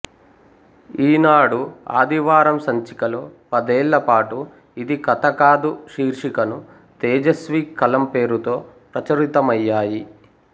ఈనాడు ఆదివారం సంచికలో పదేళ్లపాటు ఇది కథకాదు శీర్షికను తేజస్వి కలం పేరుతో ప్రచురితమయ్యాయి